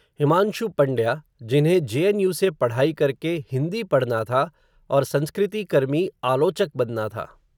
हिमांशु पंड्या, जिन्हें J N U से पढ़ाई करके, हिन्दी पढ़ना था, और संस्कृति कर्मी, आलोचक बनना था